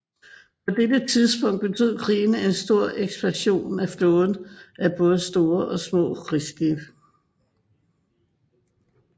På dette tidspunkt betød krigen en stor ekspansion af flåden af både store og små krigsskibe